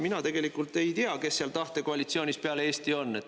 Mina tegelikult ei tea, kes seal tahte koalitsioonis peale Eesti on.